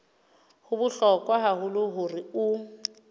ho bohlokwa haholo hore o